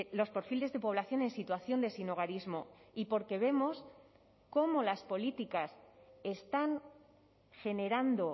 los perfiles de población en situación de sinhogarismo y porque vemos cómo las políticas están generando